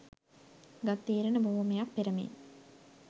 ගත් තීරණ බොහෝමයක් පෙර මෙන්